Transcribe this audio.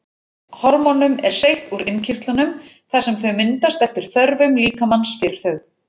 Hormónum er seytt úr innkirtlunum þar sem þau myndast eftir þörfum líkamans fyrir þau.